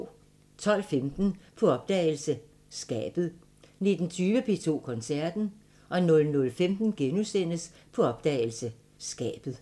12:15: På opdagelse – Skabet 19:20: P2 Koncerten 00:15: På opdagelse – Skabet *